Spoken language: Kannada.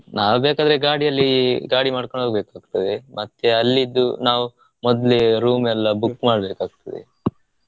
ನಾವು ಬೇಕಾದ್ರೆ ಗಾಡಿಯಲ್ಲಿ ಗಾಡಿ ಮಾಡ್ಕೊಂದ ಹೋಗಬೇಕಾಗ್ತದೆ ಮತ್ತೆ ಅಲ್ಲಿದ್ದು ನಾವು ಮೊದ್ಲೇ room ಎಲ್ಲಾ book ಮಾಡಬೇಕಾಗ್ತದೆ.